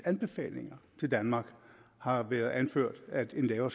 anbefalinger til danmark har været anført at en lavere